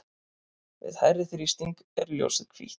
við hærri þrýsting er ljósið hvítt